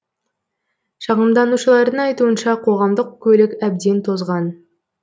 шағымданушылардың айтуынша қоғамдық көлік әбден тозған